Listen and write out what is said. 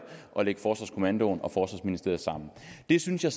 at lægge forsvarskommandoen og forsvarsministeriet sammen det synes jeg